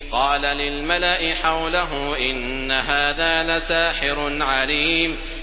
قَالَ لِلْمَلَإِ حَوْلَهُ إِنَّ هَٰذَا لَسَاحِرٌ عَلِيمٌ